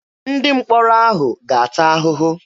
Ndị mkpọrọ ahụ ga-ata ahụhụ.